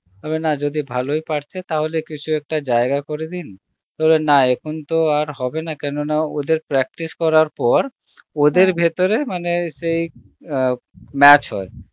না যদি ভালই পারছে তবে কিছু একটা জায়গা করে দিন বলল না এখন তো আর হবে না কেন না ওদের practice করার পর ভেতরে মানে সেই আ match হয়